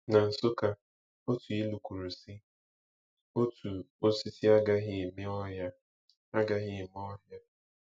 Na Nsukka, otu ilu kwuru, sị: “Otu osisi agaghị eme ọhịa.” agaghị eme ọhịa.”